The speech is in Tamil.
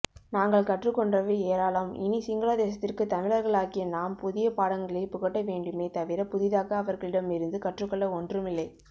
நாங்கள் கற்றுக்கொண்டவை ஏராளம் இனி சிங்களதேசத்திற்கு தமிழர்களாகிய நாம் புதியபாடங்களைப்புகட்டவேண்டுமே தவிர புதிதாக அவர்களிடம் இருந்து கற்றுக்கொள்ள ஒண்றும் இல்லை